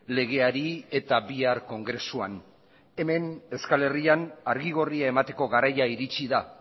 legeari eta bihar kongresuan hemen euskal herrian argi gorria emateko garaia iritsi da